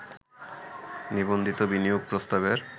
নিবন্ধিত বিনিয়োগ প্রস্তাবের